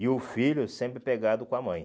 E o filho sempre pegado com a mãe.